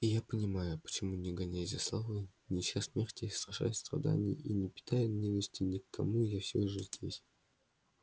и я понимаю почему не гонясь за славой не ища смерти и страшась страданий и не питая ненависти ни к кому я всё же здесь